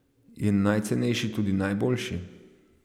Je najcenejši tudi najboljši?